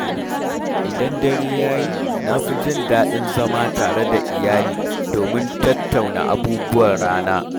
Idan dare ya yi, na fi jin daɗin zama tare da iyali domin tattauna abubuwan rana.